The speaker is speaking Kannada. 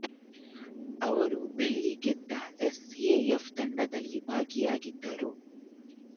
ಅವರು ಬೆಳ್ಳಿ ಗೆದ್ದ ಎಸ್ ಎ ಎಫ಼್ ತಂಡದಲ್ಲಿ ಭಾಗಿಯಾಗಿದ್ದರು